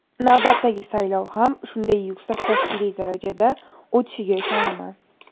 Navbatdagi saylov ham shunday yuksak tashkiliy darajada o‘tishiga ishonaman.